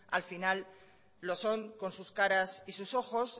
al final lo son con sus caras y sus ojos